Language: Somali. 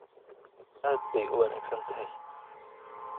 Aad bay u wanaagsan tahay.